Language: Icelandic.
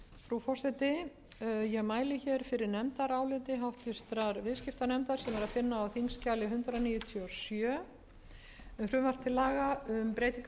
háttvirtur viðskiptanefndar sem er að finna á þingskjali hundrað níutíu og sjö um frumvarp til laga um breyting á